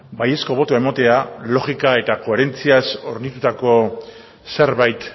baiezko botoa ematea logika eta koherentziaz hornitutako zerbait